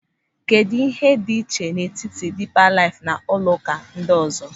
Kedụ ịhe dị iche n'etiti Dịịpa Laịf na ụlọụka ndị ọzọ.